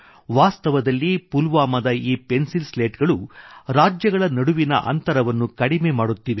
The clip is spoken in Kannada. ವಾಸ್ತವದಲ್ಲಿ ಪುಲ್ವಾಮಾದ ಈ ಪೆನ್ಸಿಲ್ ಸ್ಲೇಟ್ ಗಳು ರಾಜ್ಯಗಳ ನಡುವಿನ ಅಂತರವನ್ನು ಕಡಿಮೆ ಮಾಡುತ್ತಿವೆ